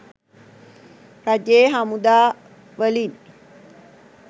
රජයේ හමුදා වලින්.